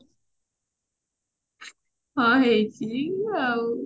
ହଁ ହେଇଛି ଆଉ